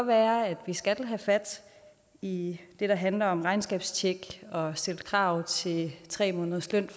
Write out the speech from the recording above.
være at man skal have fat i det der handler om regnskabstjek og stille krav til tre måneders løn